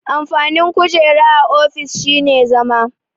Amfanin kujera a ofis shine zama.